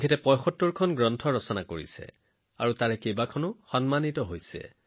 তেওঁ ৭৫খন গ্ৰন্থ লিখিছে ইয়াৰে বহুকেইখনে সমাদৰ লাভ কৰিছে